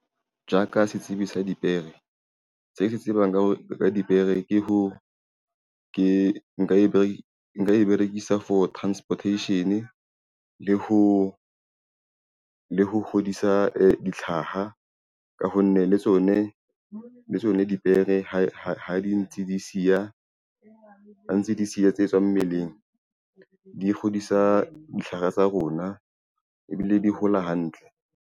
Ja ka setsibi sa dipere, se ke se tsebang ka dipere ke nka e berekisa for transportation le ho kgodisa dihlaha ka ho nne, le tsone dipere ha ntse di siya tse tswang mmeleng di kgodisa ditlhare tsa rona ebile di hola hantle.